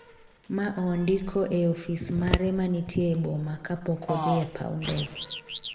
ma ondiko e ofis mare manitie e boma, kapok odhi e paw ndege .